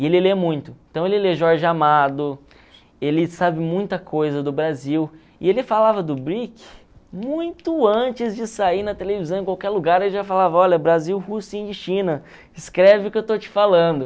E ele lê muito, então ele lê Jorge Amado, ele sabe muita coisa do Brasil, e ele falava do muito antes de sair na televisão, em qualquer lugar ele já falava, olha, Brasil, Rússia e China, escreve o que eu estou te falando.